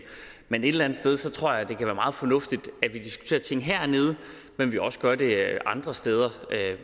men et eller andet sted tror jeg det kan være meget fornuftigt at vi diskuterer ting hernede men også gør det andre steder